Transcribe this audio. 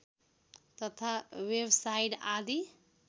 तथा वेबसाइट आदि